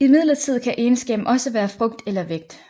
Imidlertid kan egenskaben også være frugt eller vægt